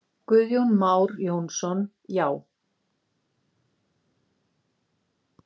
Guðjón Már Jónsson: Já.